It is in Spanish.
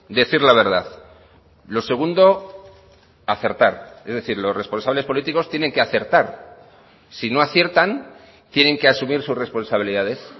decir la verdad lo segundo acertar es decir los responsables políticos tienen que acertar si no aciertan tienen que asumir sus responsabilidades